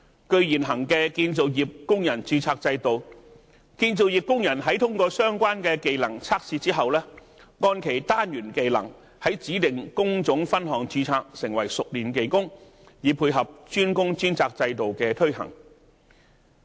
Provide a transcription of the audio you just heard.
據現行的建造業工人註冊制度，建造業工人在通過相關技能測試之後，按其單元技能在指定工種分項註冊，成為熟練技工，以配合"專工專責"制度的推行。